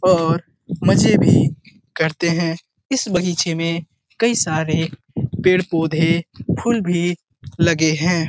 और मजे भी करते हैं इस बगीचे में कई सारे पेड़-पोधे फुल भी लगे हैं |